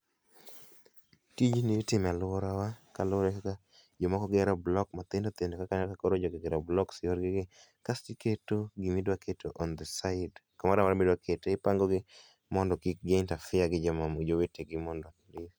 Tijni itimo e aluora wa kaluore gi kaka jomoko gero block mathindo thindo kaka neno, jogi koro ogero blocks[cs[ yorgi ni. Kasto iketo gima idwa keto on the sides, kumoro amora midwa kete, ipango gi mondo kik gi interefere gi jomamoko, jowetegi mondo